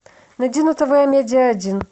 найди на тв амедиа один